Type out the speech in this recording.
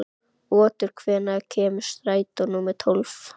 Otur, hvenær kemur strætó númer tólf?